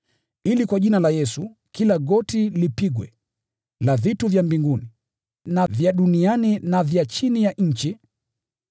ili kwa Jina la Yesu, kila goti lipigwe, la vitu vya mbinguni, na vya duniani, na vya chini ya nchi,